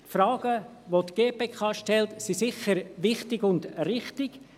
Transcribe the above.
Die Fragen, welche die GPK stellt, sind sicher wichtig und richtig.